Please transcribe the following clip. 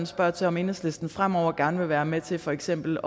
spørger til om enhedslisten fremover gerne vil være med til for eksempel